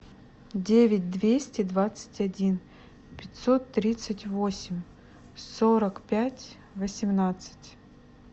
девять двести двадцать один пятьсот тридцать восемь сорок пять восемнадцать